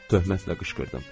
Töhmətlə qışqırdım.